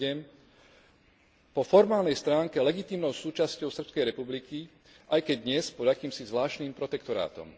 2.7 po formálnej stránke legitímnou súčasťou Srbskej republiky, aj keď dnes pod akýmsi zvláštnym protektorátom.